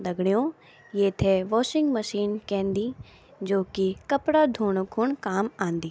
दगडियों येथे washing machine केंदी जू की कपड़ा धुण खुण काम आंदी।